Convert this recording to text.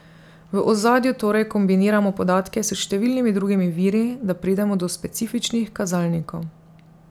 V ozadju torej kombiniramo podatke s številnimi drugimi viri, da pridemo do specifičnih kazalnikov.